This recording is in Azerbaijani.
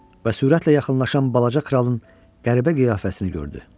Və sürətlə yaxınlaşan balaca kralın qəribə qiyafəsini gördü.